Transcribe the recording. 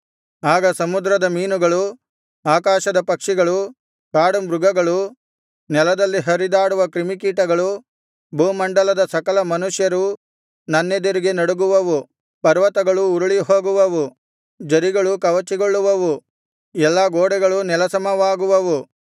ಆಗ ಸಮುದ್ರದ ಮೀನುಗಳು ಆಕಾಶದ ಪಕ್ಷಿಗಳು ಕಾಡುಮೃಗಳು ನೆಲದಲ್ಲಿ ಹರಿದಾಡುವ ಕ್ರಿಮಿಕೀಟಗಳು ಭೂಮಂಡಲದ ಸಕಲ ಮನುಷ್ಯರೂ ನನ್ನೆದುರಿಗೆ ನಡುಗುವವು ಪರ್ವತಗಳು ಉರುಳಿಹೋಗುವವು ಝರಿಗಳು ಕವಚಿಗೊಳ್ಳುವವು ಎಲ್ಲಾ ಗೋಡೆಗಳು ನೆಲಸಮವಾಗುವವು